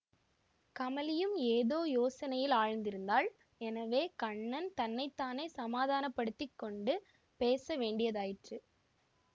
கமலியும் ஏதோ யோசனையில் ஆழ்ந்திருந்தாள் எனவே கண்ணன் தன்னை தானே சமாதானப்படுத்தி கொண்டு பேச வேண்டியதாயிற்று